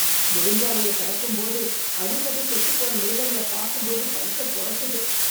நெடுஞ்சாலையக் கடக்கும்போது அடிபட்டு செத்துப் போற மிருகங்களப் பாக்கும்போது வயித்தப் பொரட்டுது.